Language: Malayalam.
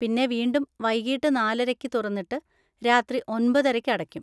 പിന്നെ വീണ്ടും വൈകീട്ട് നാലരയ്ക്ക് തുറന്നിട്ട് രാത്രി ഒമ്പതരയ്ക്ക് അടക്കും.